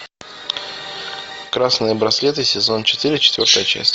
красные браслеты сезон четыре четвертая часть